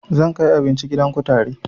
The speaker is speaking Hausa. Zan kai abinci gidan kutare